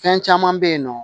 Fɛn caman bɛ yen nɔ